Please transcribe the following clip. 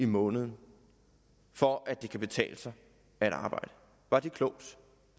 måneden for at det kan betale sig at arbejde var det klogt